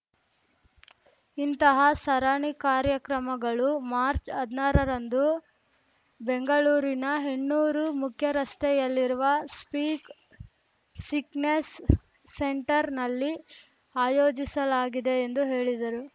ಇಂತಹ ಸರಣಿ ಕಾರ್ಯಕ್ರಮಗಳು ಮಾರ್ಚ್ ಹದ್ನಾರರಂದು ಬೆಂಗಳೂರಿನ ಹೆಣ್ಣೂರು ಮುಖ್ಯರಸ್ತೆಯಲ್ಲಿರುವ ಸ್ಪೀಕ್ ಸಿಕ್‍ನೆಸ್ ಸೆಂಟರ್ ನಲ್ಲಿ ಆಯೋಜಿಸಲಾಗಿದೆ ಎಂದು ಹೇಳಿದರು